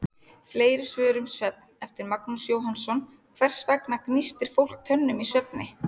Fleiri svör um svefn, eftir Magnús Jóhannsson: Hvers vegna gnístir fólk tönnum í svefni?